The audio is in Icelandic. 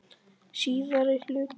Síðari hluti